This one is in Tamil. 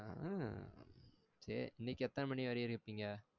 ஆ சரி இன்னைக்கு எத்தன மணி வரைக்கும் இருப்பிங்க?